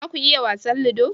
za ku yi wasan ludo?